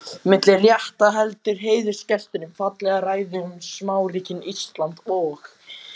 Milli rétta heldur heiðursgesturinn fallega ræðu um smáríkin Ísland og